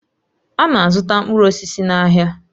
A na-azụta mkpụrụ osisi n'ahịa